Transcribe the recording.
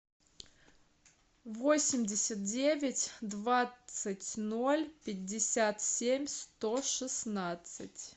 восемьдесят девять двадцать ноль пятьдесят семь сто шестнадцать